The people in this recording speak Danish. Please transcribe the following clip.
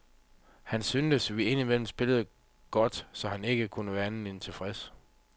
Han synes, vi ind imellem spillede godt, så han kan ikke andet end være tilfreds.